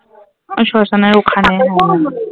ওই শ্মশানের ওখানে